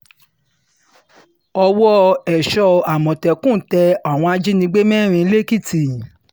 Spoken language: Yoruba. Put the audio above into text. owó èso àmọ̀tẹ́kùn tẹ àwọn ajínigbé mẹ́rin lẹ́kìtì